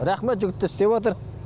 рахмет жігіттер істеватыр